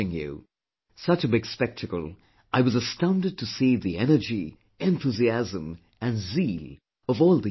Such a big spectacle, I was astounded to see the energy, enthusiasm, and zeal of all the young players